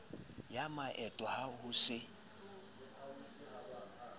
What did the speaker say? ya maeto ha ho se